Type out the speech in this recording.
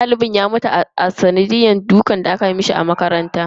Dalibin ya mutu a sanadiyan dukan da aka mishi a makaranta.